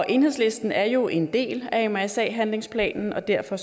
enhedslisten er jo en del af mrsa handlingsplanen og derfor